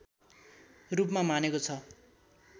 रूपमा मानेको छ